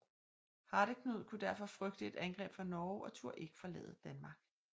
Hardeknud kunne derfor frygte et angreb fra Norge og turde ikke forlade Danmark